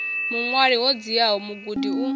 vhuṅwali ho dziaho mugudi u